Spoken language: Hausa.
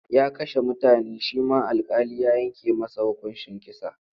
Ya kashe mutane shi ma alƙali ya yanke masa hukuncin kisa.